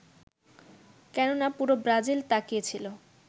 কেননা পুরো ব্রাজিল তাকিয়েছিল